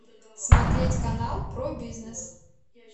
смотреть канал про бизнес